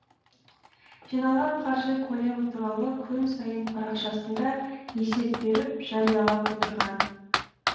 жиналған қаржы көлемі туралы күн сайын парақшасында есеп беріп жариялап отырған